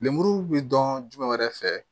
Lemuru be dɔn jumɛn wɛrɛ fɛ